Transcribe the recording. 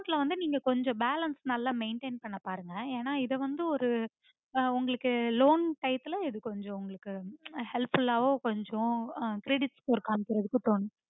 account ல வந்து நீங்க கொஞ்சம் balance நல்ல maintain பண்ண பாருங்க ஏன்ன இத வந்து ஒரு ஆஹ் உங்களுக்கு loan time ல உங்களுக்கு helpful ஆவோ கொஞ்சம் ஆஹ் காமிக்கறதுக்கு கொஞ்சம்